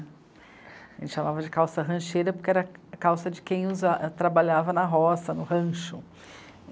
A gente chamava de calça rancheira porque era calça de quem usa... trabalhava na roça, no rancho.